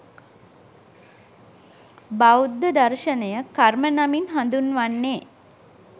බෞද්ධ දර්ශනය කර්ම නමින් හඳුන්වන්නේ